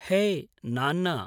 है नान्न